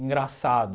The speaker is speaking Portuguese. Engraçado.